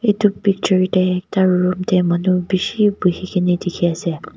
edu picture tae ekta room tae manu bishi buhikaena dikhiase.